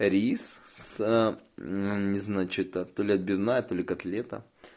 не значит отель отбивная или котлета